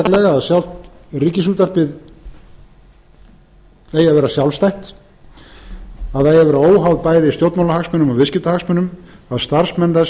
að sjálft ríkisútvarpið eigi að vera sjálfstætt það eigi að vera óháð bæði stjórnmálahagsmunum og viðskiptahagsmunum að starfsmenn þess verði